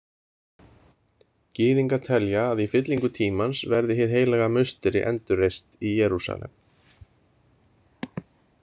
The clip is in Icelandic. Gyðingar telja að í fyllingu tímans verði Hið heilaga musteri endurreist í Jerúsalem.